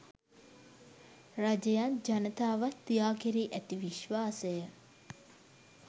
රජයත් ජනතාවත් යා කෙරී ඇති විශ්වාසය